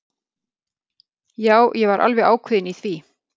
Já, ég var alveg ákveðin í því.